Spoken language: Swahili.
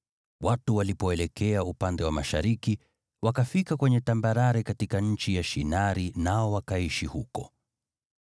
Watu walipoelekea upande wa mashariki, wakafika kwenye tambarare katika nchi ya Shinari nao wakaishi huko.